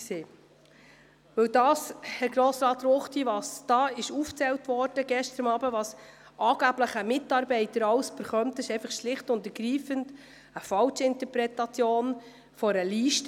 Das, was Grossrat Ruchti gestern aufzählte, was ein Mitarbeiter angeblich alles erhalten würde, ist eine falsche Interpretation einer Liste.